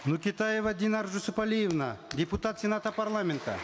нокетаева динар жусупалиевна депутат сената парламента